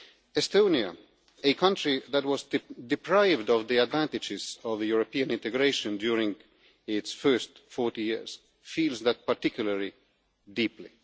Estonia, a country that was deprived of the advantages of European integration during its first 40 years, feels that particularly deeply.